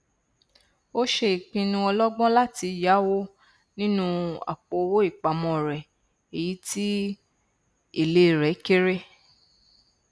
ó ṣe ìpinnu ọlọgbọn láti yáwó nínú àpòowó ìpamọ rẹ èyí tí èlé rẹ kéré